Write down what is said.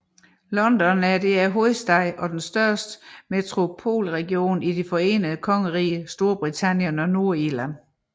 London er hovedstaden og den største metropolregion i Det Forenede Kongerige Storbritannien og Nordirland